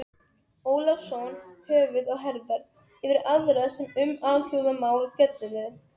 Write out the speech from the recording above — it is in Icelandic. Ólafsson höfuð og herðar yfir aðra sem um alþjóðamál fjölluðu.